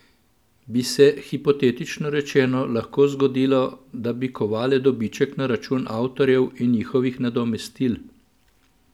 Bi se, hipotetično rečeno, lahko zgodilo, da bi kovale dobiček na račun avtorjev in njihovih nadomestil?